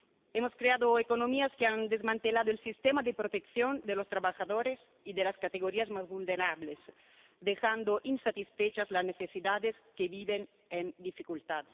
Hemos creado economías que han desmantelado el sistema de protección de los trabajadores y de las categorías más vulnerables, dejando insatisfechas las necesidades de los que viven en dificultad.